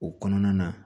O kɔnɔna na